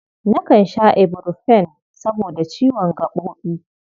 Nakan sha iburfen saboda ciwon gaɓoɓi.